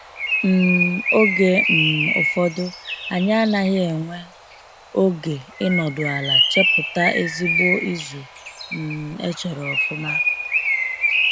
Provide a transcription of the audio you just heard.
um Oge um ụfọdụ anyị anaghị enwee oge ịnọdụ ala, chepụta ezigbo izu um echere ọfụma.